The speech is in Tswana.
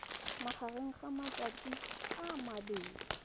magareng ga matsatsi a mabedi